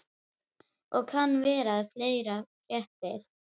Og kann vera að fleira fréttist.